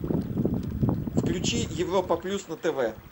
включи европа плюс на тв